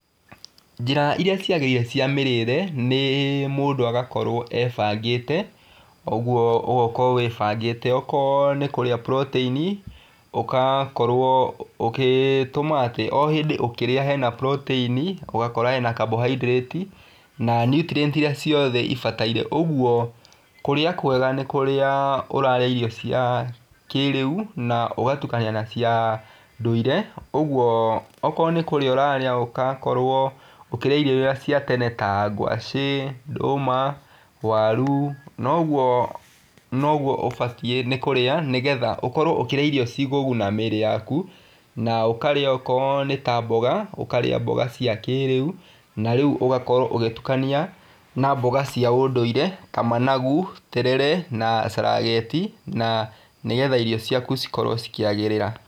Njĩra iria ciagĩrĩire cia mĩrĩre, nĩ mũndũ agakorwo ebangĩte, ũguo ũgakorwo wĩbangĩte, okorwo nĩ kũrĩa buroteini, ũgakorwo ũgĩtũma atĩ o hĩndĩ ũkĩrĩa hena buroteini, ũgakora hena kambohaindirĩti, na nutrienti iria ciothe ibataire, ũguo, kũrĩa kwega nĩ kũrĩa ũrarĩa irio cia kĩrĩu na ũgatukania na cia ndũire, ũguo okorwo nĩ kũrĩa ũrarĩa, ũgakorwo ũkĩrĩa irio iria cia tene ta ngwacĩ, ndũma, waru na ũguo noguo ũbatiĩ nĩ kũrĩa, nĩgetha ũkorwo ũkĩrĩa irio cikũguna mĩri yaku, na ũkarĩa okorwo nĩ ta mboga, ũkarĩa mboga cia kĩrĩu na rĩu ũgakorwo ũgĩtukania na mboga cia ũndũire ta managu, terere na carageti na nĩgetha irio ciaku cikorwo cikĩagĩrĩra.